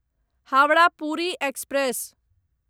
Howrah Puri express